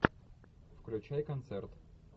включай концерт